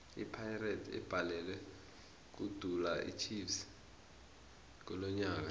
ipirates ibhalelwe kudula ichiefs kilonyaka nje